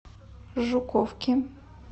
жуковки